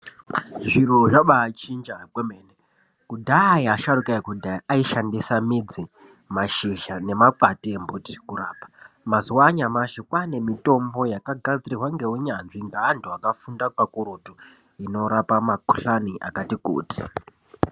Zviro zvabachinja kwemene. Kudhaya asharukwa ekudhaya aishandisa midzi, mashizha nemakwande embiti kurapa .Mazuwa anyamashi kwane mitombo yakagadzirwa ngeunyanzvi ngevantu vakafunda kakurutu, inorapa makhuhlani akati kuti.